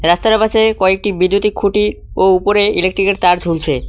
একতারা পাশে কিছু বৈদ্যুতিক খুঁটি ও উপরে ইলেকট্রিকের তার ঝুলছে।